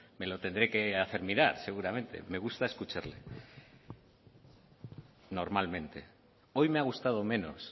me lo tendré que hacer mirar seguramente me gusta escucharle normalmente hoy me ha gustado menos